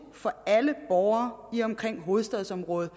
for alle borgere lige omkring hovedstadsområdet